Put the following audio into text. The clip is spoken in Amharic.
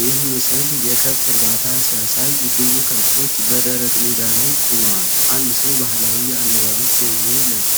ይህ ምስል የከብት እርባታ ሲያሳይ፣ ብዙ ከብቶች በደረቅ ሜዳ ላይ ቆመዋል። አንድ ሰው ባህላዊ የአለባበስ ዘይቤ ለብሶ